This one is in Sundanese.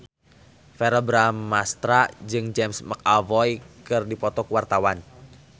Verrell Bramastra jeung James McAvoy keur dipoto ku wartawan